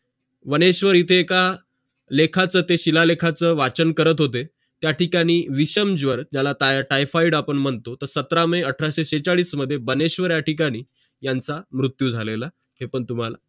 बनेश्वर इथं एक लेखाचं ते शिलालेखाचा वाचन करत होते विषमज्वर ज्याला typhoid आपण मनतो तर सतरा मे अठराशे छेचाडीस मध्ये बनेश्वर या ठिकाणी मृत्यू झालेला आहे है पण तुम्हाला